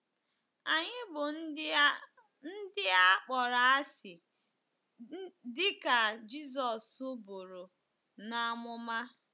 Anyị bụ ndị a ndị a kpọrọ asị, dị ka Jizọs buru n’amụma.